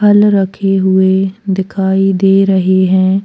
फल रखे हुए दिखाई दे रहे हैं।